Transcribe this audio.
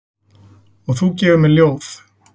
Og þú gefur mér ljóð.